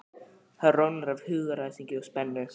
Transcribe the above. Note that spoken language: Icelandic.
Hann roðnar af hugaræsingi og spennu.